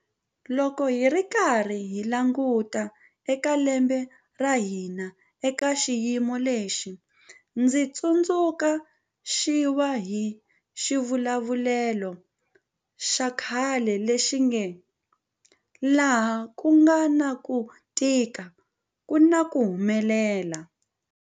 Loko hi karhi hi languta eka lembe ra hina eka xiyimo lexi, ndzi tsundzu xiwa hi xivulavulelo xa khale lexi nge 'laha ku nga na ku tika ku na ku humelela.